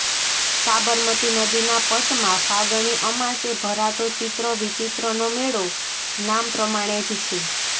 સાબરમતી નદીના પટમાં ફાગણી અમાસે ભરાતો ચિત્ર વિચીત્રનો મેળો નામ પ્રમાણે જ છે